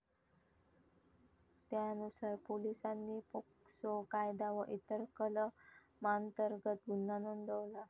त्यानुसार पोलिसांनी पोक्सो कायदा व इतर कलमांतर्गत गुन्हा नोंदवला.